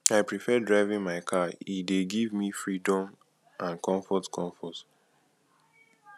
i prefer driving my car e dey give me freedom and comfort comfort